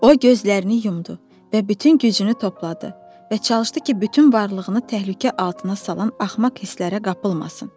O gözlərini yumdu və bütün gücünü topladı və çalışdı ki, bütün varlığını təhlükə altına salan axmaq hisslərə qapılmasın.